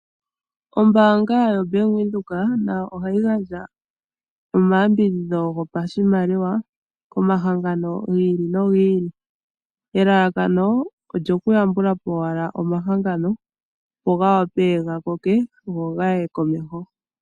Ombaanga yoBank Windhoek nayo ohayi gandja omayambidhidho gopashimaliwa komahangano gi ili nogi ili. Elalakano olyoku yambula po owala omahangano go gavule ga koke go gaye komeho.